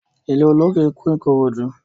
Ilé olókè kún Ìkòròdú.